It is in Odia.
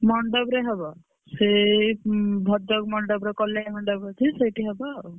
ମଣ୍ଡପରେ ହବ। ସେ ଉଁ ଭଦ୍ରକ ମଣ୍ଡପରେ କଲେ ମଣ୍ଡପ ଅଛି ସେଇଠି ହବଆଉ।